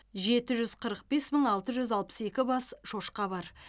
жеті жүз қырық бес мың алты жүз алпыс екі бас шошқа бар